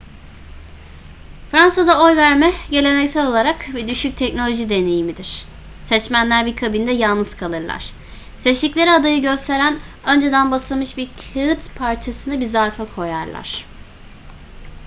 fransa'da oy verme geleneksel olarak bir düşük teknoloji deneyimidir seçmenler bir kabinde yalnız kalırlar seçtikleri adayı gösteren önceden basılmış bir kağıt parçasını bir zarfa koyarlar